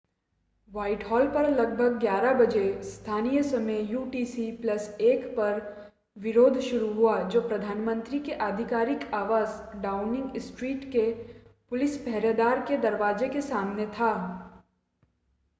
Whitehall पर लगभग 11:00 बजे स्थानीय समय यूटीसी + 1 पर विरोध शुरू हुआ जो प्रधानमंत्री के आधिकारिक आवास डाउनिंग स्ट्रीट के पुलिस-पहरेदार के दरवाजे के सामने था।